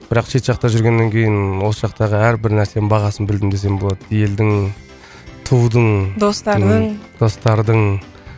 бірақ шет жақта жүргеннен кейін осы жақтағы әрбір нәрсенің бағасын білдім десем болады елдің тудың достардың достардың